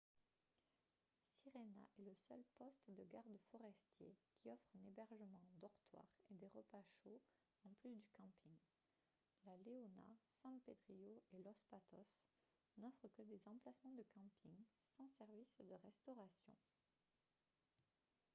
sirena est le seul poste de gardes forestiers qui offre un hébergement en dortoir et des repas chauds en plus du camping la leona san pedrillo et los patos n'offrent que des emplacements de camping sans service de restauration